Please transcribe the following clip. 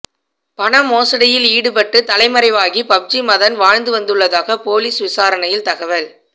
பண மோசடியில் ஈடுபட்டு தலைமறைவாகி பப்ஜி மதன் வாழ்ந்து வந்துள்ளதாக போலீஸ் விசாரணையில் தகவல்